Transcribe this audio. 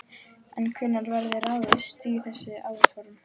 En hvenær verður ráðist í þessi áform?